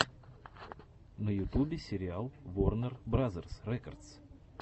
на ютубе сериал ворнер бразерс рекордс